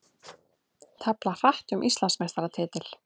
Tefla hratt um Íslandsmeistaratitil